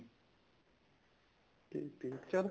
ਠੀਕ ਠੀਕ ਚੱਲ